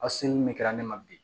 Aw seli min kɛra ne ma bi